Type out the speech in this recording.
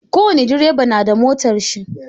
Ko wani direba na da motar shi.